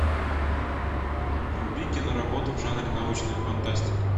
вруби киноработу в жанре научная фантастика